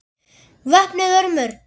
VOPNUÐ ÖRMUM